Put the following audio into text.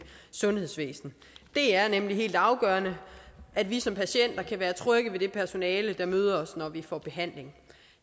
sundhedsvæsen det er nemlig helt afgørende at vi som patienter kan være trygge ved det personale der møder os når vi får behandling